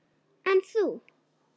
En þú?